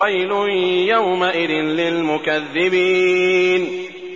وَيْلٌ يَوْمَئِذٍ لِّلْمُكَذِّبِينَ